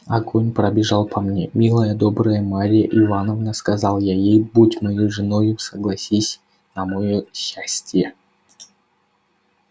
огонь пробежал по мне милая добрая марья ивановна сказал я ей будь моей женою согласись на моё счастие